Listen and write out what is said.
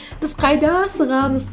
біз қайда асығамыз